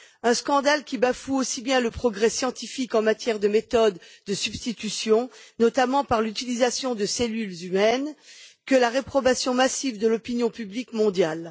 Un scandale qui bafoue aussi bien le progrès scientifique en matière de méthodes de substitution, notamment par l'utilisation de cellules humaines, que la réprobation massive de l'opinion publique mondiale.